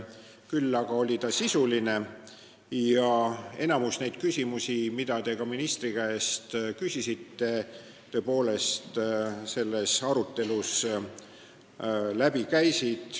Küll aga oli dispuut sisuline ja enamik neid küsimusi, mida te täna ministri käest küsisite, käis ka meie arutelus läbi.